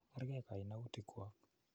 Kerkei kainautik kwok.